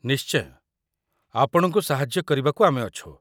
ନିଶ୍ଚୟ, ଆପଣଙ୍କୁ ସାହାଯ୍ୟ କରିବାକୁ ଆମେ ଅଛୁ ।